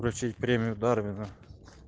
вручить премию дарвина